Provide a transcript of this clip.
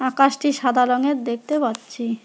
আকাশটি সাদা রঙের দেখতে পাচ্ছি।